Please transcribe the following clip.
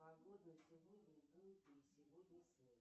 погода на сегодня будет ли сегодня снег